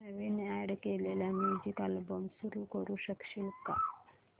नवीन add केलेला music album सुरू करू शकशील का